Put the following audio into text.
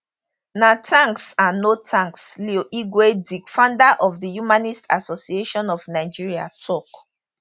na thanks and no thanks leo igwe di founder of the humanist association of nigeria tok